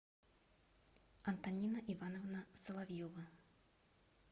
антонина ивановна соловьева